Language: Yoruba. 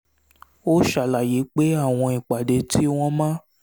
ó ṣàlàyé pé àwọn ìpàdé tí wọ́n máa